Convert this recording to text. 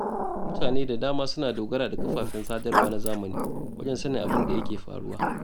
Mutane da dama suna dogara da kafafen sadarwa na zamani wajen sanin abin da yake faruwa.